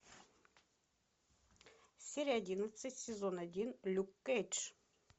серия одиннадцать сезон один люк кейдж